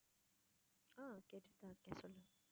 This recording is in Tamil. ஆஹ் கேட்டுட்டு தான் இருக்கேன் சொல்லு